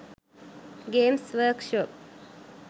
games workshop